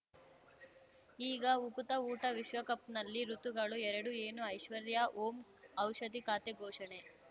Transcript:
ಈಗ ಉಕುತ ಊಟ ವಿಶ್ವಕಪ್‌ನಲ್ಲಿ ಋತುಗಳು ಎರಡು ಏನು ಐಶ್ವರ್ಯಾ ಓಂ ಔಷಧಿ ಖಾತೆ ಘೋಷಣೆ